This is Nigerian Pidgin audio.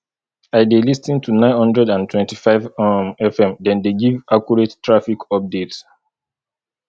i dey lis ten to nine hundred and twenty-five um fm dem dey give accurate traffic updates